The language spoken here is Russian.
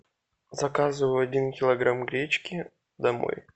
заказывай один килограмм гречки домой